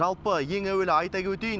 жалпы ең әуелі айта өтейін